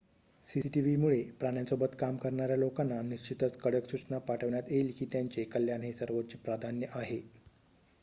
"""cctv मुळे प्राण्यांसोबत काम करणार्‍या लोकांना निश्चितच कडक सूचना पाठवण्यात येईल की त्यांचे कल्याण हे सर्वोच्च प्राधान्य आहे.""